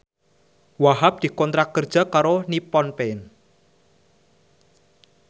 Wahhab dikontrak kerja karo Nippon Paint